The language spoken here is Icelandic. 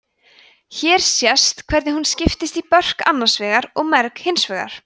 hér sést hvernig hún skiptist í börk annars vegar og merg hins vegar